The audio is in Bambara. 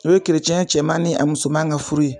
O ye cɛman ni a musoman ka furu ye.